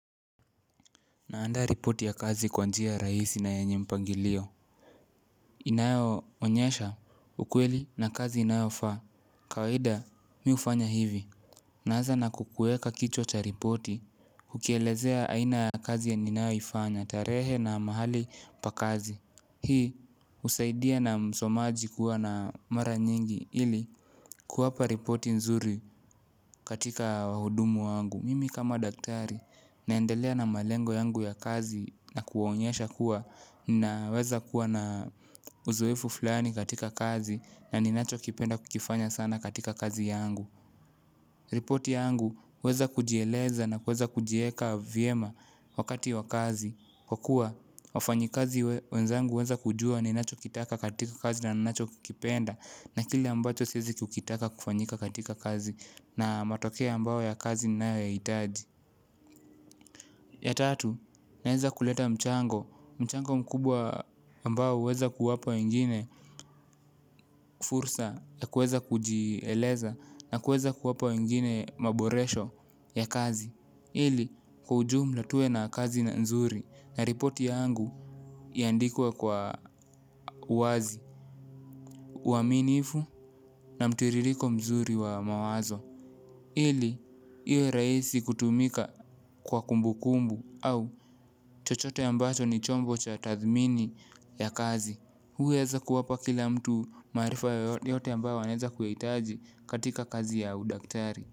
Naanda ripoti ya kazi kwa njia rahisi na yanye mpangilio. Inayoonyesha ukweli na kazi inayofaa. Kawaida mi hufanya hivi. Naaza na kukuweka kichwa cha ripoti. Ukielezea aina ya kazi ya ninayoifanya tarehe na mahali pa kazi. Hii husaidia na msomaji kuwa na mara nyingi ili kuwapa ripoti nzuri katika wahudumu wangu. Mimi kama daktari naendelea na malengo yangu ya kazi na kuwaonyesha kuwa naweza kuwa na uzoefu fulani katika kazi na ninachokipenda kukifanya sana katika kazi yangu. Repoti yangu huweza kujieleza na kuweza kujieka vyema wakati wa kazi. Kwa kuwa, wafanyikazi wenzangu huweza kujua ninachokitaka katika kazi na ninachokikipenda. Na kile ambacho siezi kukitaka kufanyika katika kazi na matokeo ambao ya kazi ninayoyahitaji. Ya tatu, naeza kuleta mchango mchango mkubwa ambao uweza kuwapa wengine fursa na kuweza kujieleza na kuweza kuwapa wengine maboresho ya kazi. Ili, kwa ujumla tuwe na kazi na nzuri na ripoti yangu iandikwe kwa wazi uaminifu na mtiririko mzuri wa mawazo. Ili, iwe rahisi kutumika kwa kumbukumbu au chochote ambacho ni chombo cha tathmini ya kazi. Huweza kuwapa kila mtu maarifa yote ambayo wanaweza kuyahitaji katika kazi ya udaktari.